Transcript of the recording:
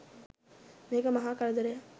මේක මහා කරදරයක්.